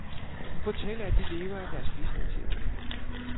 Hun fortæller, at de lever af deres bistandshjælp.